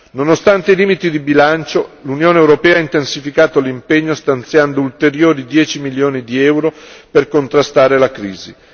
Nonostante i limiti di bilancio, l'Unione europea ha intensificato l'impegno stanziando ulteriori 10 milioni di euro per contrastare la crisi.